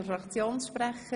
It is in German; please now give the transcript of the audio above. – Das ist nicht der Fall.